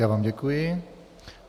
Já vám děkuji.